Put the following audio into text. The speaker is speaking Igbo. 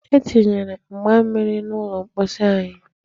E tinyere mgba mmiri n'ụlọ mposi anyị.